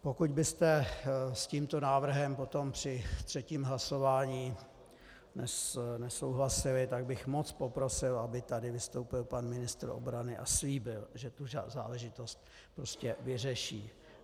Pokud byste s tímto návrhem potom při třetím hlasování nesouhlasili, tak bych moc poprosil, aby tady vystoupil pan ministr obrany a slíbil, že tu záležitost prostě vyřeší.